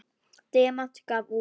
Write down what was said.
Demant gaf út.